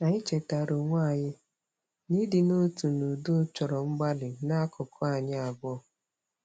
Anyị chetaara onwe anyị na ịdị n'otu n'udo chọrọ mgbalị n'akụkụ anyi abụọ.